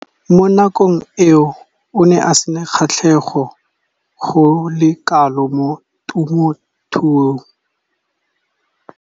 Mo nakong eo o ne a sena kgatlhego go le kalo mo temothuong.